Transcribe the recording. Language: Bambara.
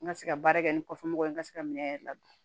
N ka se ka baara kɛ ni kɔfɛmɔgɔ ye n ka se ka minɛn yɛrɛ ladon